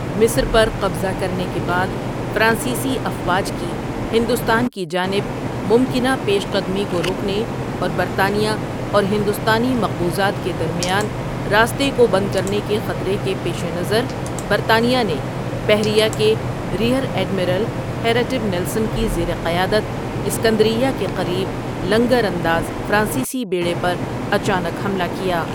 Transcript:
مصر پر قبضہ کرنے کے بعد فرانسیسی افواج کی ہندوستان کی جانب ممکنہ پیش قدمی کو روکنے اور برطانیہ اور ہندوستانی مقبوضات کے درمیان راستے کو بند کرنے کے خطرے کے پیش نظر برطانیہ نے بحریہ کے ریئر ایڈمرل ہیراٹیو نیلسن کی زیر قیادت اسکندریہ کے قریب لنگرانداز فرانسیسی بیڑے پر اچانک حملہ کیا ۔